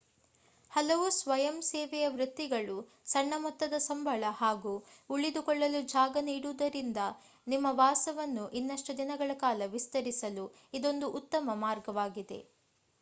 ಹಲವು ಸ್ವಯಂಸೇವೆಯ ವೃತ್ತಿಗಳು ಸಣ್ಣ ಮೊತ್ತದ ಸಂಬಳ ಹಾಗೂ ಉಳಿದುಕೊಳ್ಳಲು ಜಾಗ ನೀಡುವುದರಿಂದ ನಿಮ್ಮ ವಾಸವನ್ನು ಇನ್ನಷ್ಟು ದಿನಗಳ ಕಾಲ ವಿಸ್ತರಿಸಲು ಇದೊಂದು ಉತ್ತಮ ಮಾರ್ಗವಾಗಿದೆ